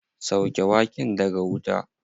Sauke waken daga wuta.